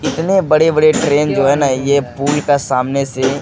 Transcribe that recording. इतने बड़े-बड़े ट्रैन जो है ना ये पुल के सामने से --